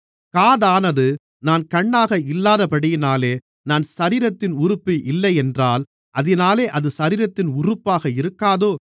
காதானது நான் கண்ணாக இல்லாதபடியினாலே நான் சரீரத்தின் உறுப்பு இல்லையென்றால் அதினாலே அது சரீரத்தின் உறுப்பாக இருக்காதோ